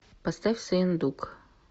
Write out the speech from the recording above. поставь сыендук